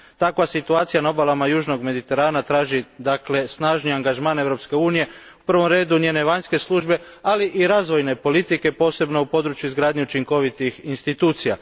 Takva situacija na obalama južnog Mediterana traži snažni angažman Europske unije, u prvom redu njene vanjske službe, ali i razvojne politike posebno u području izgradnje učinkovitih institucija.